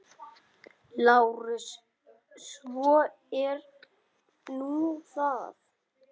LÁRUS: Svo er nú það.